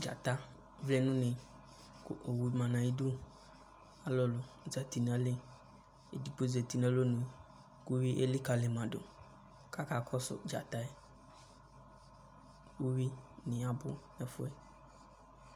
Dzata vlɛ nʋ une, kʋ owu ma nʋ ayʋ idu, alʋ zati nʋ ayili, edigbo zati nʋ alonu kʋ uyui elikǝli ma dʋ, kʋ akakɔsʋ dzata yɛ, uyuinɩ abʋ nʋ ɛfʋ yɛ